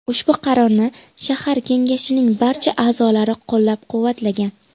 Ushbu qarorni shahar kengashining barcha a’zolari qo‘llab-quvvatlagan.